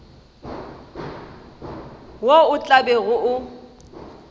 wo o tla bego o